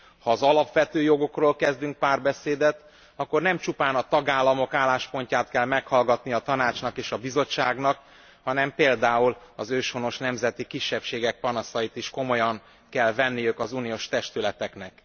Ha az alapvető jogokról kezdünk párbeszédet, akkor nem csupán a tagállamok álláspontját kell meghallgatni a Tanácsnak és a Bizottságnak, hanem például az őshonos nemzeti kisebbségek panaszait is komolyan kell venniük az uniós testületeknek.